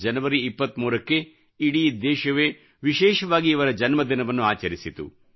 ಜನವರಿ 23 ಕ್ಕೆ ಇಡೀ ದೇಶವೇ ವಿಶೇಷವಾಗಿ ಇವರ ಜನ್ಮದಿನವನ್ನು ಆಚರಿಸಿತು